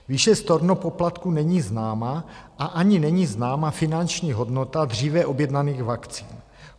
Výše stornopoplatku není známa a ani není známa finanční hodnota dříve objednaných vakcín.